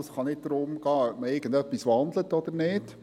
Es kann nicht darum gehen, ob man irgendetwas wandelt oder nicht.